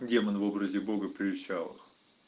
демон в образе бога прельщал их